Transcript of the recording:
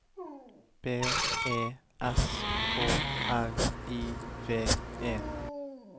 B E S K R I V E